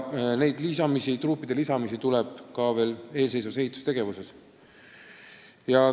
Neid truupe tuleb eelseisvas ehitustegevuses veelgi lisada.